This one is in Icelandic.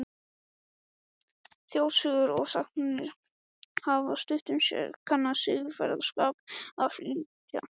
Þjóðsögur og sagnir hafa stundum sérstakan siðferðisboðskap að flytja.